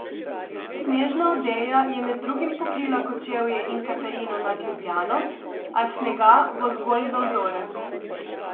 Snežna odeja je med drugim pokrila Kočevje in Katarino nad Ljubljano, a snega bo zgolj za vzorec.